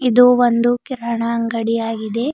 ಇದು ಒಂದು ಕಿರಾಣಾ ಅಂಡಗಿ ಆಗಿದೆ.